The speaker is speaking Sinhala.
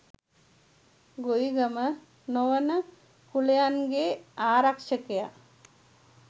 ගොවිගම නොවන කුලයන්ගේ ආරක්ෂකයා